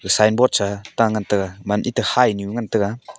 signboard sa ta ngan tega man eman hainyu ngan tega.